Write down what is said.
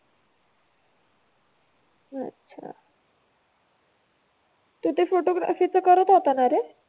अच्छा. तू ते फोटोग्राफीचं करत होताना रे?